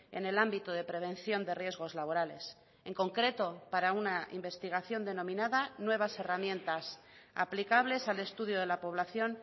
en el ámbito de prevención de riesgos laborales en concreto para una investigación denominada nuevas herramientas aplicables al estudio de la población